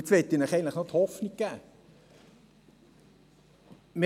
Nun möchte ich Ihnen noch die Hoffnung geben.